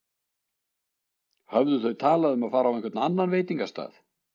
Höfðu þau talað um að fara á einhvern annan veitingastað?